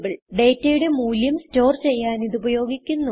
ഡേറ്റയുടെ മൂല്യം സ്റ്റോർ ചെയ്യാൻ ഇത് ഉപയോഗിക്കുന്നു